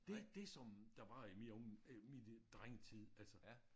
Det det som der var i mit øh mit drengetid altså